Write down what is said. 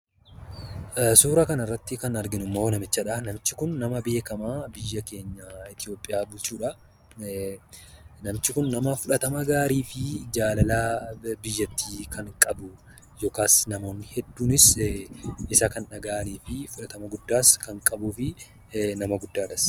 Suuraa kanarratti kan arginummoo namichadha. Namichi kun ammoo nama beekamaa biyya keenya Itoopiyaa bulchuudha. Namichi kun nama fudhatama gaariifi jaalala biyyattii kan qabu yookaan namoonni hedduunis isa kan dhagahaniifi fudhatama guddaas kan qabuufi nama guddaadhas.